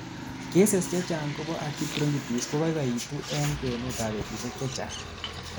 cases chechang chebo acute bronchitis kokoikoitu en kwenut ab betusiek chechang